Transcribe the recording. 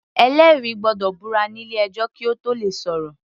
Ẹlẹ́rìí gbọ́dọ̀ búra nílé ẹjọ́ kí Ó tóò le sọ̀rọ̀.